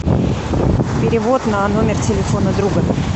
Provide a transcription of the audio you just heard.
перевод на номер телефона друга